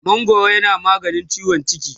mangwaro yana maganin ciwon ciki